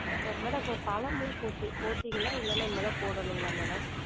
Madam இப்ப பழம்லாம் போட்டி~ போட்டீங்களா இல்லனா இனிமே தான் போடனுங்களா madam?